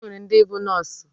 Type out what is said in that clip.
Enwere ndi bu nọọsụ.